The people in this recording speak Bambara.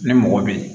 Ni mɔgɔ bɛ yen